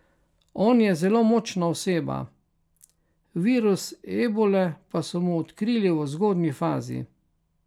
On je zelo močna oseba, virus ebole pa so mu odkrili v zgodnji fazi.